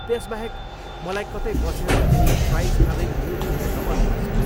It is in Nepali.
त्यसबाहेक, मलाई कतै बसेर केही फ्राइज खाँदै युट्युब हेर्न मन पर्छ।